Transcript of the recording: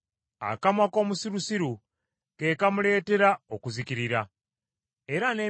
Akamwa k’omusirusiru kamuleetera entalo era akamwa ke kamuleetera okukubwa emiggo.